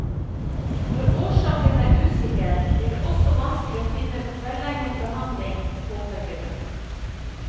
Når årsaken er usikker, blir det også vanskelig å finne velegnet behandling, påpeker hun.